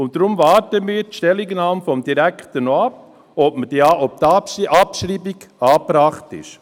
Deshalb warten wir die Stellungnahme des Direktors ab und entscheiden danach, ob die Abschreibung angebracht ist.